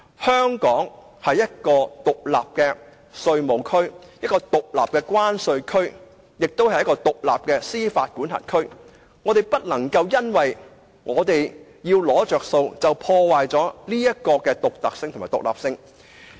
香港是一個獨立的稅務區、獨立的關稅區，以及獨立的司法管轄區，我們不能夠因為要"攞着數"，便破壞這種獨特的獨立性。